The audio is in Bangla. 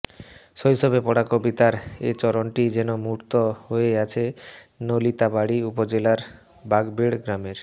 শৈশবে পড়া কবিতার এ চরণটি যেন মূর্ত হয়ে আছে নালিতাবাড়ী উপজেলার বাঘবেড় গ্রামের